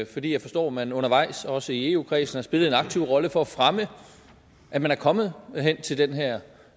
fordi jeg forstår at man undervejs også i eu kredsen har spillet en aktiv rolle for at fremme at man er kommet hen til den her